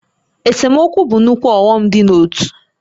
Esemokwu bụ nnukwu ọghọm dị n'ótú